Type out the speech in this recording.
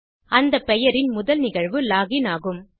அந்த பெயரின் முதல் நிகழ்வு லாக் இன் ஆகும்